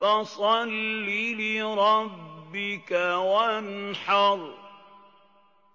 فَصَلِّ لِرَبِّكَ وَانْحَرْ